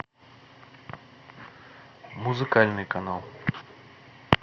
музыкальный канал